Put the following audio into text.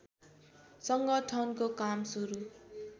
संगठनको काम सुरु